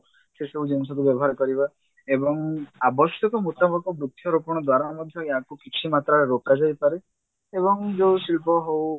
ସେ ସବୁ ଜିନିଷକୁ ବ୍ୟବହାର କରିବା ଏବଂ ଆବଶ୍ୟକ ମୁତାବକ ବୃକ୍ଷରୋପଣ ଦ୍ଵାରା ମଧ୍ୟ ଆକୁ କିଛି ମାତ୍ରାରେ ରୋକାଯାଇ ପାରେ ଏବଂ ଯଉ ଶିଳ୍ପ ହଉ